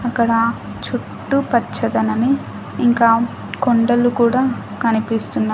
అక్కడ చుట్టూ పచ్చదనమే ఇంకా కొండలు కూడా కనిపిస్తున్నాయి.